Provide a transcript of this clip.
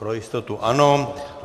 Pro jistotu ano.